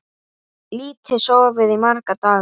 Lítið sofið í marga daga.